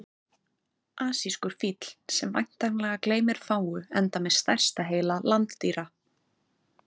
asískur fíll sem væntanlega gleymir fáu enda með stærsta heila landdýra